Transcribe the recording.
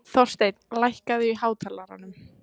Þorsteinn, lækkaðu í hátalaranum.